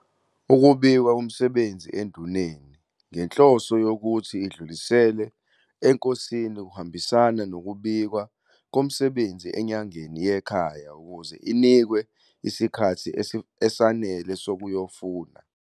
Ukubikwa komsebenzi enduneni, ngenhloso yokuthi idlulisele enkosini kuhambisana nokubikwa komsebenzi enyangeni yekhaya ukuze inikwe isikhathi esanele sokuyofuna